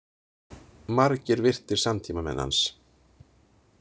Margir virtir samtímamenn hans.